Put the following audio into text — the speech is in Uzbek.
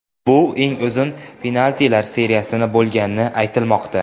Bu eng uzun penaltilar seriyasi bo‘lgani aytilmoqda.